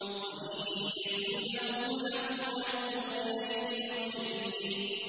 وَإِن يَكُن لَّهُمُ الْحَقُّ يَأْتُوا إِلَيْهِ مُذْعِنِينَ